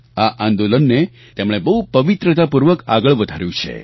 આ આંદોલનને તેમણે બહુ પવિત્રતાપૂર્વક આગળ વધાર્યું છે